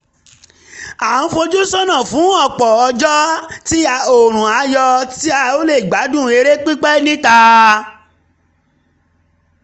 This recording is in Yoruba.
a ń fojú sọ́nà fún ọ̀pọ̀ ọjọ́ tí oòrùn á yọ tá ó lè gbádùn eré pípẹ́ níta